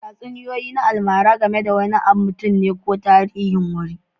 Tatsuniyoyi na almara game da wani mutum ne ko tarihin wuri